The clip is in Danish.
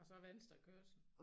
Og så venstrekørsel